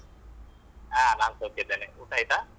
ಹಾ ನಾನು ಸೌಖ್ಯ ಇದ್ದೇನೆ ಊಟ ಆಯ್ತಾ?